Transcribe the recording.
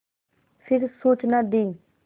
फिर सूचना दी